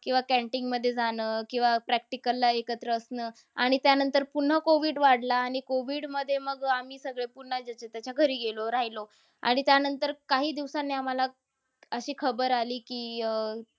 किंवा canteen मध्ये जाणं. किंवा practical ला एकत्र असणं. आणि त्यानंतर पुन्हा COVID वाढला. आणि COVID मध्ये मग आम्ही सगळे पुन्हा ज्याच्या-त्याच्या घरी गेलो, रहायलो. आणि त्यानंतर काही दिवसांनी आम्हाला अशी खबर आली की अह